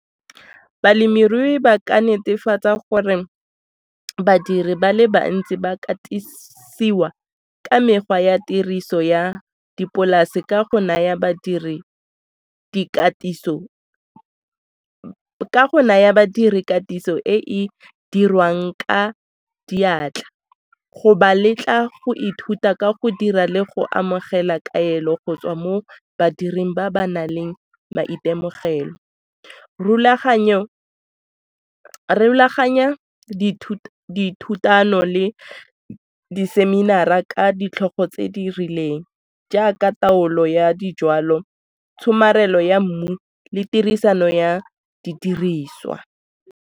Balemirui ba ka netefatsa gore badiri ba le bantsi ba katisiwa ka mekgwa ya tiriso ya dipolase ka go naya badiri katiso e e dirwang ka diatla go ba letla go ithuta ka go dira le go amogela kaelo go tswa mo badiri ba ba nang le maitemogelo. Rulaganya dithutano le diseminara ka ditlhogo tse di rileng jaaka taolo ya dijwalo, tshomarelo ya mmu le tirisano ya didiriswa.